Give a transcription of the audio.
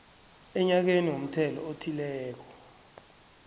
enyakeni womthelo othileko